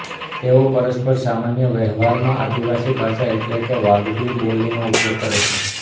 તેઓ પરસ્પર સામાન્ય વહેવારમાં આદિવાસી ભાષા એટલે કે વાગડી બોલીનો ઉપયોગ કરે છે